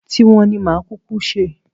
Ti wọn ni màá kúkú ṣe